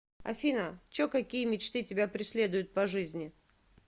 афина чо какие мечты тебя преследуют по жизни